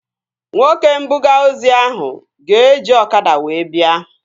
Nwoke mbuga ozi ahụ ga-eji ọkada wee bịa